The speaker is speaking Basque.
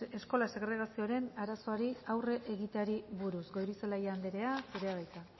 eskola segregazioaren arazoari aurre egiteari buruz goirizelaia anderea zurea da hitza